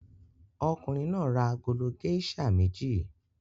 Ọkùnrin náà ra agolo géíṣà méjì.